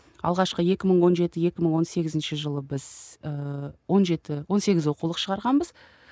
алғашқы екі мың он жеті екі мың он сегізінші жылы біз ііі он жеті он сегіз оқулық шығарғанбыз